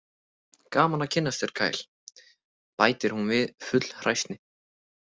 Gaman að kynnast þér, Kyle, bætir hún við full hræsni.